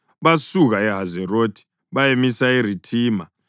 Basuka eHazerothi bayamisa eRithima.